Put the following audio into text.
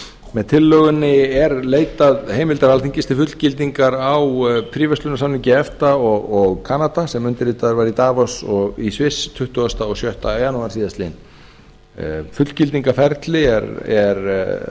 með tillögunni er leitað heimildar alþingis til fullgildingu á fríverslunarsamningi efta og kanada sem undirritaður var í sviss tuttugasta og sjötta janúar síðastliðnum fullgildingarferli er